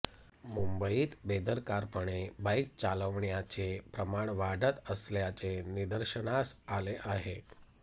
मुंबईत बेदरकारपणे बाईक चालवण्याचे प्रमाण वाढत असल्याचे निदर्शनास आले आहे